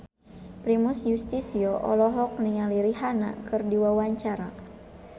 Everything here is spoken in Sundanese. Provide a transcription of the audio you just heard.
Primus Yustisio olohok ningali Rihanna keur diwawancara